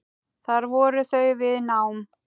Þar voru þau við nám.